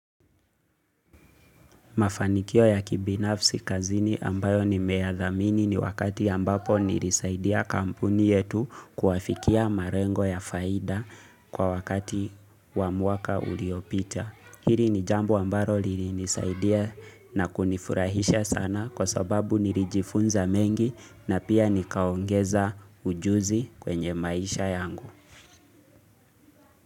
Mafanikio ya kibinafsi kazini ambayo nimeyadhamini ni wakati ambapo nilisaidia kampuni yetu kuwafikia malengo ya faida kwa wakati wa mwaka uliopita. Hili ni jambo ambalo lilinisaidia na kunifurahisha sana kwa sababu nilijifunza mengi na pia nikaongeza ujuzi kwenye maisha yangu.